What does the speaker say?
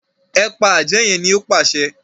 e pa Ajé yén ní o pàṣẹ